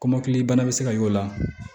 Kɔmɔkili bana bɛ se ka y'o la